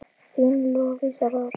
Þín Lovísa Rós.